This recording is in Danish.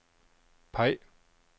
peg